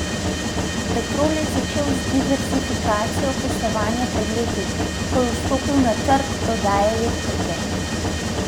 Petrol je začel z diverzifikacijo poslovanja pred leti, ko je vstopil na trg prodaje elektrike.